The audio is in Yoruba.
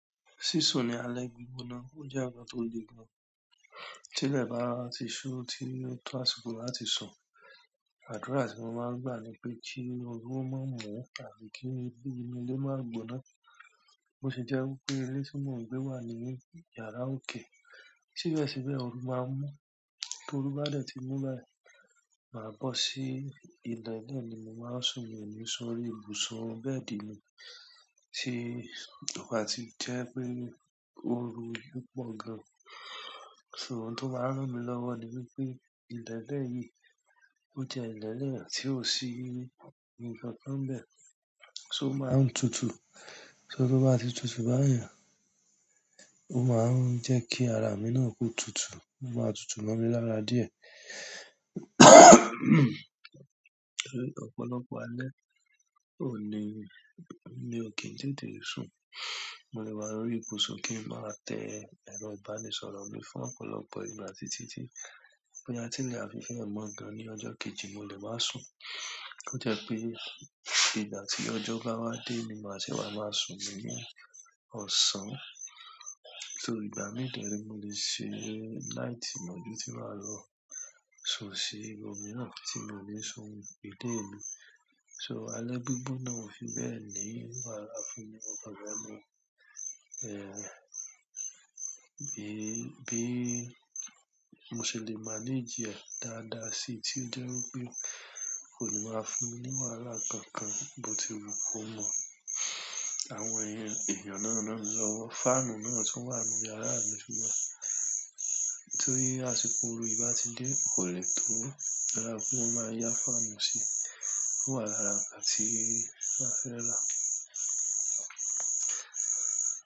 Sísun ni alẹ́ gbígbóná. Ó jẹ́ nkan tó le gan. Tí ilẹ̀ bá ti ṣú, tí task force bá ti sùn, àdúrà tí mo máa ń gbà ni pé kí oru má mú àti kí inú ilé má gboná. Bo se jẹ́ wípé ilé tí mò ń gbé wà ní yàrá òkè. Síbẹ̀síbẹ̀, ooru maa n mu. T'oru bá dẹ̀ ti mú bẹ́yẹ̀n, màá bo sí ilẹ̀ náà ni mo máa sùn mí o ní sórí ibùsùn bẹ́ẹ̀dì mi. Tí ò bà tí jẹ́ pé ooru yìí pọ̀ gan. So, ohun tó máa ń rán mi lọ́wọ́ ni wípé ilẹ̀ náà yìí, ó jẹ́ ilẹ̀ náà tí ò sí nǹkan kan n bẹ̀. So ó máa ń tutù. So tó bá ti tutù báyen, ó máa ń jẹ́ kí ara mi náà ko tutù. O maa tutu mo mi lára díẹ̀. Ọ̀pọ̀lọpọ̀ alẹ́ kò ní, mi ò kí n tètè sùn. Mo lè wá lórí ibùsùn kí ń má tẹ́ ẹro ìbánisọ̀rọ̀ mi fún ọ̀pọ̀lọpọ̀ ìgbà títí tí, boya tílẹ̀ á fi fe ẹ́ mọ̀ gan ní ọjọ́ kejì, mo lè máa sùn. Ko de je pe, ìgbà ti ojo ba wa de ni maa se wa maa sun ni osan. So ìgbà mí i dẹ̀ere, mo lè ṣe láì tí mo bi tì i máa lọ sùn sí ibomi mirán tí mi o ní sùn ìlé mi. So, alẹ́ gbígbóná ò fi bẹ́ẹ̀ ní wàhálà fún mi mọ̀ kan fe ni. Bí, bí mo se lè manage rẹ̀ dáadáa síi tí ó jẹ́ wípé kò ní máa fún mi ní wàhálà kankan bó ti wù kó mọ̀. Àwọn èèyàn, eeyan náà náà ńi lọ́wọ́. Fáànù náà tun wà nínú yàrá mi ti wá. Torí àsìkò oru yìí bá ti dé, kò le tun dára pé wón máa ya fáànù si. Ó wà lára nkán ti a fẹ́rà.